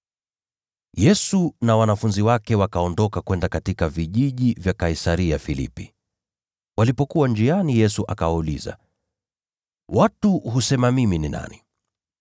Yesu na wanafunzi wake wakaondoka kwenda katika vijiji vya Kaisaria-Filipi. Walipokuwa njiani, Yesu akawauliza, “Watu husema mimi ni nani?”